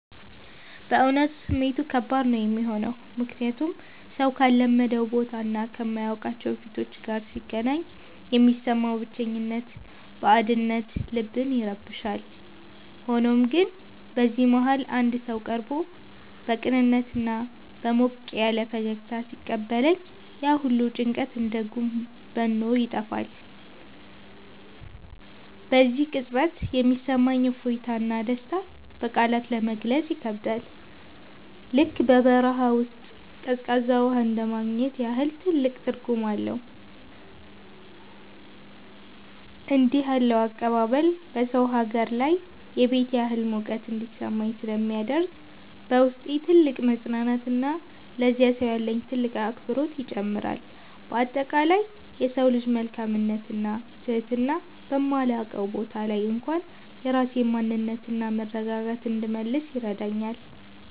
በእውነቱ ስሜቱ ከባድ ነው የሚሆነው፤ ምክንያቱም ሰው ካልለመደው ቦታና ከማያውቃቸው ፊቶች ጋር ሲገናኝ የሚሰማው ብቸኝነትና ባዕድነት ልብን ይረብሻል። ሆኖም ግን በዚህ መሃል አንድ ሰው ቀርቦ በቅንነትና በሞቅ ያለ ፈገግታ ሲቀበለኝ፣ ያ ሁሉ ጭንቀት እንደ ጉም በኖ ይጠፋል። በዚያ ቅጽበት የሚሰማኝ እፎይታና ደስታ በቃላት ለመግለጽ ይከብዳል፤ ልክ በበረሃ ውስጥ ቀዝቃዛ ውሃ እንደማግኘት ያህል ትልቅ ትርጉም አለው። እንዲህ ያለው አቀባበል በሰው ሀገር ላይ የቤት ያህል ሙቀት እንዲሰማኝ ስለሚያደርግ፣ በውስጤ ትልቅ መፅናናትንና ለዚያ ሰው ያለኝን ጥልቅ አክብሮት ይጨምረዋል። በአጠቃላይ የሰው ልጅ መልካምነትና ትህትና በማላውቀው ቦታ ላይ እንኳን የራሴን ማንነትና መረጋጋት እንድመልስ ይረዳኛል።